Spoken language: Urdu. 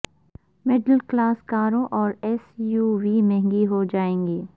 مڈل کلاس کاروں اور ایس یو وی مہنگی ہو جائے گی